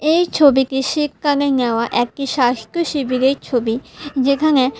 এই ছবিটি শীতকানে নেওয়া একটি স্বাস্থ্য শিবিরের ছবি যেখানে--